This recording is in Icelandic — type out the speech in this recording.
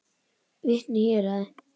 Vitni í héraði.